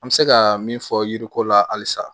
An bɛ se ka min fɔ yiriko la halisa